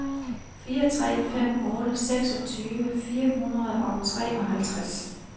fire tre fem otte seksogtyve fire hundrede og treoghalvtreds